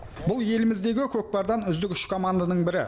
бұл еліміздегі көкпардан үздік үш команданың бірі